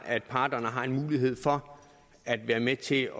at parterne har en mulighed for at være med til